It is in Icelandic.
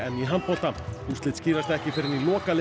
í handbolta úrslit skýrast ekki fyrr en í